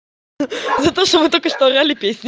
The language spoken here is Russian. но то что вы только что орали песни